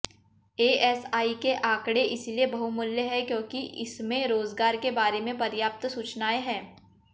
ASI के आंकड़े इसलिए बहुमूल्य हैं क्योंकि इसमें रोजगार के बारे में पर्याप्त सूचनाएं हैं